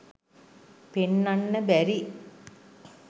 පෙන්නන්න බැරි.